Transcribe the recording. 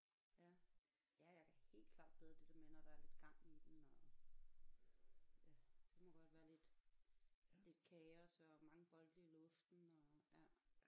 Ja ja jeg kan helt klart bedre det der med når der er lidt gang i den og ja det må godt være lidt lidt kaos og mange bolde i luften og ja